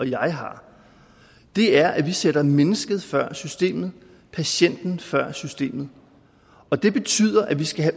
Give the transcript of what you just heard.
jeg har er at vi sætter mennesket før systemet patienten før systemet og det betyder at vi skal